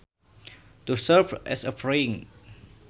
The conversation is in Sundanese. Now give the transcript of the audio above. To serve as a fringe